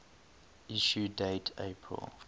issue date april